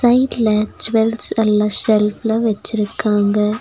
சைட்ல ஜூவல்ஸ் எல்லா செல்ஃப்ல வெச்சிருக்காங்க.